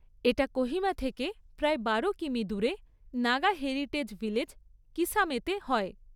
এটা কোহিমা থেকে প্রায় বারো কিমি দূরে নাগা হেরিটেজ ভিলেজ, কিসামেতে হয়।